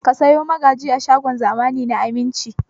Ka sayo magaji a shagon zamani na Aminci!